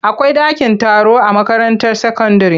Akwai dakin taro a makaranta sakandire.